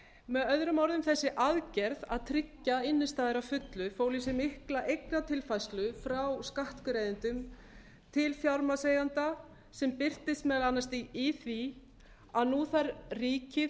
með öðrum orðum þessi aðgerð að tryggja innstæður að fullu fól í sér mikla eignatilfærslu frá skattgreiðendum til fjármagnseigenda sem birtist meðal annars í því að nú þarf ríkið